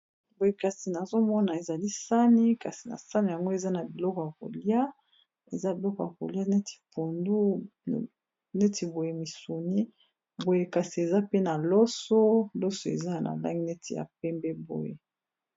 Boye kasi nazomona ezali sani kasi na sani yango eza na biloko ya kolia eza biloko ya kolia neti pondu neti boye misuni boye kasi eza pe na loso, loso eza na langi neti ya pembe boye.